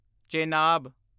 Chenab